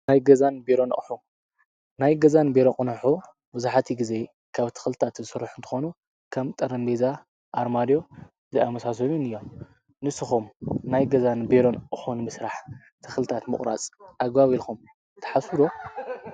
ናይ ገዛን በሮንኦሑ ናይ ገዛን ቤሮ ኾኑሑ ብዙኃቲ ጊዜ ካብ ትኽልጣት ዝሥርኅ እንተኾኑ ከም ጠረንኔዛ ኣርማድዮ ዝኣመሳሰሉን እዮም ንሱኹም ናይ ገዛን ቤይሮን ኦሑን ምስራሕ ትኽልጣት ምቑራጽ ኣጓቢኢልኹም ተሓሱዶ።